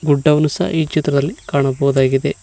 ಗುಡ್ಡವನ್ನು ಸಹ ಈ ಚಿತ್ರದಲ್ಲಿ ಕಾಣಬಹುದಾಗಿದೆ.